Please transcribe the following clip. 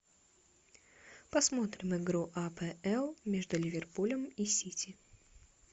посмотрим игру апл между ливерпулем и сити